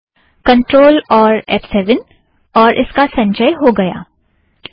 control और F seven और इसका संचय हो गया है